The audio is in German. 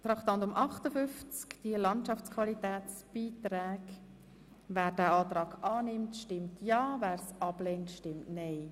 Wer den Kreditantrag Traktandum 58 annimmt, stimmt ja, wer ihn ablehnt, stimmt nein.